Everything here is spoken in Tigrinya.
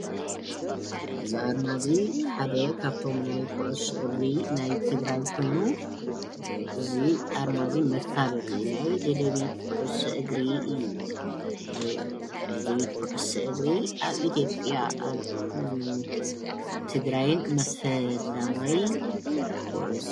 እዚ ኣርማ እዚ ሓደ ካብቶ ናይ ኩዕሶ እግሪ ናይ ትግራይ ኮይኑ እዚ ኣርማ እዚ መፋለጢ እዩ፡፡ ናይ ደደቢት ኩዕሶ እግሪ እዩ፡፡ ደደቢት ክዕሶ እግሪ ኣብ ኢትዮጵያ ኣብ ትግርይን ፈላማይን ኩዕሶ